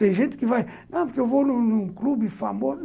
Tem gente que vai... Não, porque eu vou num clube famoso.